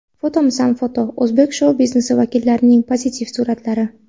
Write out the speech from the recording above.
Fotomisan foto: O‘zbek shou-biznesi vakillarining pozitiv suratlari.